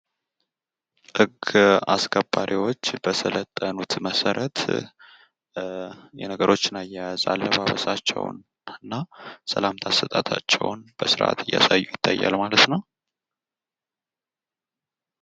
ጸጥታ አስከባሪወች በሰለጠኑት መሰረት የነገሮችን አያይዝ አለባበሳቸውን እና ሰላምታ አሰጣጣ ቸውን በስርዓት እያሳዩ ይታያል ማለት ነው።